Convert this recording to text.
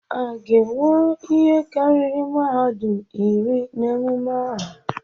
A ga-enwe ihe karịrị mmadụ iri na emume ahụ?